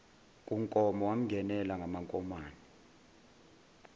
kunkomo wamngenela ngamankomane